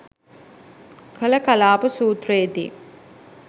කළ කලාප සූත්‍රයේ දී